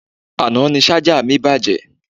Àná ni Ṣájà mi bàjẹ́